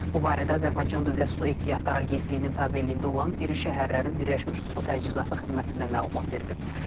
Bu barədə Azərbaycan Dövlət Su Ehtiyatları Agentliyinin tabeliyində olan iri şəhərlərin Birləşmiş Su Təchizatı xidmətindən məlumat verilib.